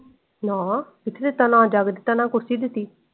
ਨਾ ਕਿਥੇ ਦਿੱਤਾ ਨਾ ਜੱਗ ਦਿੱਤਾ ਨਾ ਕੁਰਸੀ ਦਿੱਤੀ।